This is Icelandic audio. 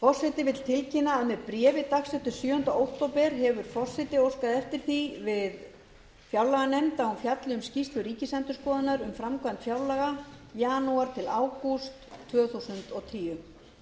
forseti vil tilkynna að með bréfi dagsettu sjöunda október hefur forseti óskað eftir því við fjárlaganefnd að hún fjalli um skýrslu ríkisendurskoðunar um framkvæmd fjárlaga janúar til ágúst tvö þúsund og tíu